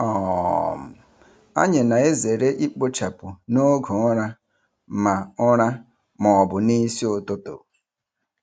um Anyị na-ezere ikpochapụ n'oge ụra ma ụra ma ọ bụ n'isi ụtụtụ.